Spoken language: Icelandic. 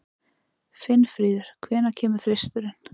Finnfríður, hvenær kemur þristurinn?